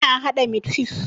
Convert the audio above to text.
Ina haɗa mit fif